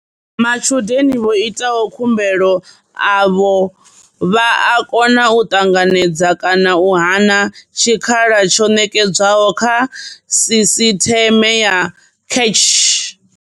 Matshudeni vho itaho khumbelo avho vha a kona u ṱanganedza kana u hana tshikhala tsho ṋetshedzwaho kha sisiṱeme ya CACH.